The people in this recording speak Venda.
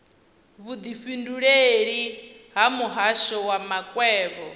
vhudifhinduleleli ha muhasho wa makwevho